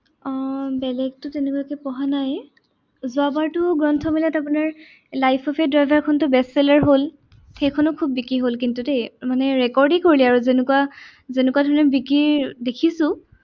অ বেলেগটো তেনেকুৱাকে পঢ়া নাই। যোৱাবাৰটো গ্ৰন্থ মেলাত আপোনাৰ লাইফ অফ এ ড্ৰাইভাৰখনটোতো best seller হল। সেইখনো খুব বিক্ৰী হল কিন্তু দেই। মানে record এ কৰিলে আৰু যেনেকুৱা, যেনেকুৱা ধৰণে বিক্ৰী দেখিছো।